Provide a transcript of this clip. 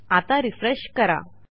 आता रिफ्रेश करा